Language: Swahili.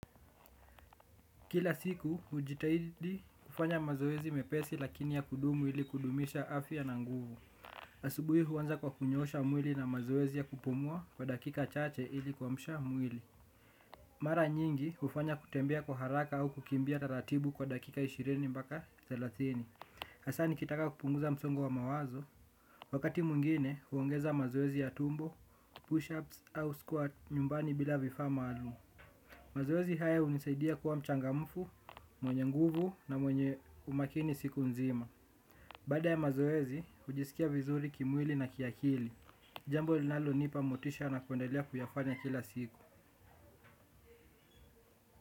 Kila siku hujitahidi kufanya mazoezi mepesi lakini ya kudumu ili kudumisha afya na nguvu. Asubuhi huanza kwa kunyoosha mwili na mazoezi ya kupumua kwa dakika chache ili kuamsha mwili. Mara nyingi hufanya kutembea kwa haraka au kukimbia taratibu kwa dakika ishirini mbaka thelathini. Hasaa nikitaka kupunguza msongo wa mawazo. Wakati mwingine huongeza mazoezi ya tumbo, push-ups au squat nyumbani bila vifaa maalum. Mazoezi haya hunisaidia kuwa mchangamfu, mwenye nguvu na mwenye umakini siku nzima. Baada ya mazoezi, hujisikia vizuri kimwili na kiakili. Jambo linalo nipa motisha na kuendelea kuyafanya kila siku.